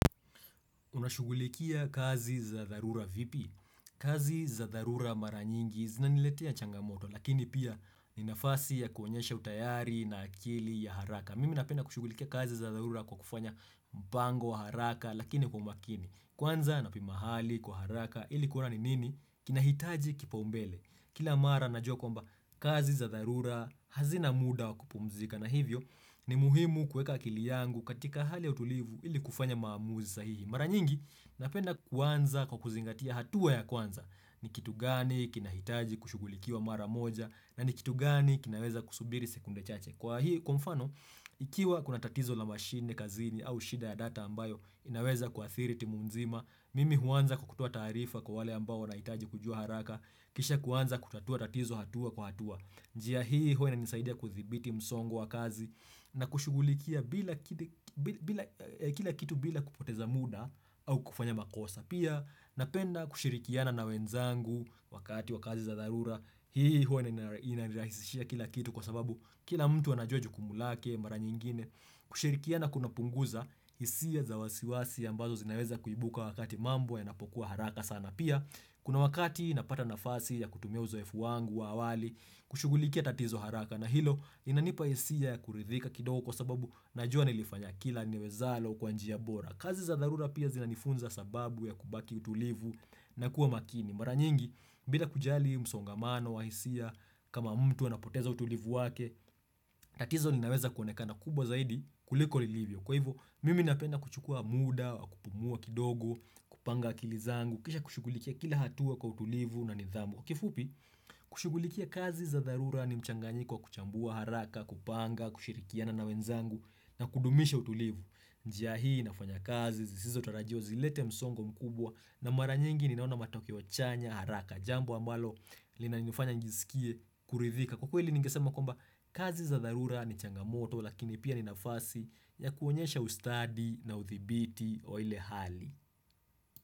Unashugulikia kazi za dharura vipi? Kazi za dharura maranyingi zinaniletea changamoto lakini pia ninafasi ya kuonyesha utayari na akili ya haraka. Mimi napena kushugulikia kazi za dharura kwa kufanya mpango wa haraka lakini kwa umakini. Kwanza napimahali kwa haraka ilikuwa ni nini? Kinahitaji kipa umbele. Kila mara najua kwamba kazi za dharura hazina muda wa kupumzika. Na hivyo ni muhimu kuweka akili yangu katika hali ya utulivu ili kufanya maamuzi sahihi. Mara nyingi, napenda kwanza kwa kuzingatia hatua ya kwanza. Ni kitu gani kina hitaji kushugulikiwa mara moja na ni kitu gani kinaweza kusubiri sekunde chache. Kwa hii, kwa mfano, ikiwa kuna tatizo la machine, kazini au shida ya data ambayo, inaweza kwa kuathiri timumzima, mimi huanza kukutua taarifa kwa wale ambao wahitaji kujua haraka, kisha kuanza kutatua tatizo hatua kwa hatua. Njia hii huwa inanisaidia kuthibiti msongo wa kazi na kushugulikia kila kitu bila kupoteza muda au kufanya makosa. Pia napenda kushirikiana na wenzangu wakati wa kazi za dharura. Hii huwa na inirahisishia kila kitu kwa sababu kila mtu anajua jukumulake mara nyingine. Kushirikiana kuna punguza hisia za wasiwasi ambazo zinaweza kuibuka wakati mambo ya napokuwa haraka sana. Pia kuna wakati napata nafasi ya kutumia uzoefu wangu wa awali kushugulikia tatizo haraka na hilo inanipa isia ya kuridhika kidogo kwa sababu najua nilifanya kila niwezalo kwanji ya bora. Kazi za dharura pia zinanifunza sababu ya kubaki utulivu na kuwa makini. Mara nyingi bila kujali msongamano wa hisia kama mtu anapoteza utulivu wake, tatizo ninaweza kuonekana kubwa zaidi kuliko lilivyo. Kwa hivyo, mimi napenda kuchukua muda, wakupumua kidogo, kupanga akilizangu, kisha kushugulikia kila hatua kwa utulivu na nidhamu. Kifupi, kushugulikia kazi za dharura ni mchanganyiko kuchambua haraka, kupanga, kushirikiana na wenzangu na kudumisha utulivu. Njia hii, nafanya kazi, zisizo tarajio, zilete msongo mkubwa na mara nyingi ni naona matokeo chanya haraka. Jambo ambalo lina nifanya njizikie kuridhika. Kwa kweli nigesema kwamba kazi za dharura ni changamoto lakini pia ni nafasi ya kuonyesha ustadi na uthibiti wa ile hali.